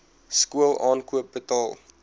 skool aankoop betaal